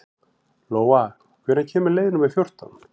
Lóa, hvenær kemur leið númer fjórtán?